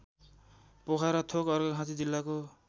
पोखराथोक अर्घाखाँची जिल्लाको